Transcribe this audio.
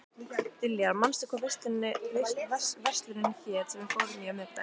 Diljar, manstu hvað verslunin hét sem við fórum í á miðvikudaginn?